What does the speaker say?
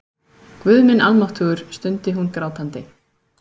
Guð minn almáttugur, stundi hún grátandi.